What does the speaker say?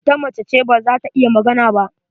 Ita mace ce, ba za ta iya magana ba.